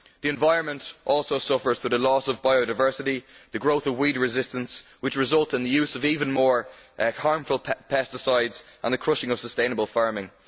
The environment also suffers through the loss of biodiversity and the growth of weed resistance, which leads to the use of even more harmful pesticides and the crushing of sustainable farming.